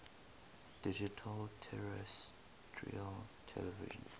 digital terrestrial television